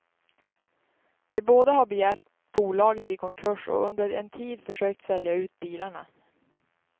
De båda har begärt bolaget i konkurs och under en tid försökt sälja ut bilarna.